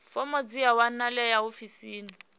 fomo dzi a wanalea ofisini